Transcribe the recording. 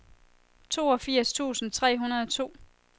toogfirs tusind tre hundrede og to